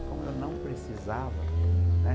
E como eu não precisava, né?